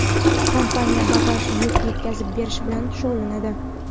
kompaniya bagaj (yuk) yetkazib berish bilan shug‘ullanadi.